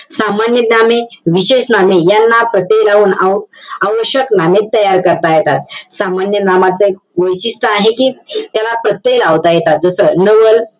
सामान्य नामे, विशेष नामे यांना प्रत्यय लावून आव~ आवश्यक नामे तयार करता येतात. सामान्य नामाचं एक वैशिष्ट्य आहे कि त्याला प्रत्यय लावता येतात. जसं नवल,